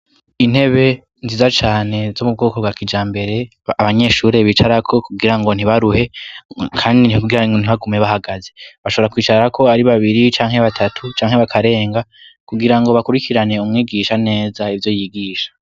Intebe nziza cane z'umubwoko bwa kija mbere abanyeshuri bicarako kugira ngo ntibaruhe kandi ntiubgiran ngo ntibagume bahagaze bashobora kwicara ko ari babiri cyanke batatu cyanke bakarenga kugira ngo bakurikirane umwigisha neza ibyo yigisha.